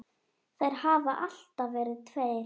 Þeir hafa alltaf verið tveir.